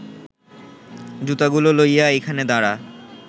জুতাগুলা লইয়া এইখানে দাঁড়া